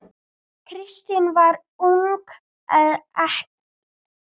Kristín varð ung ekkja.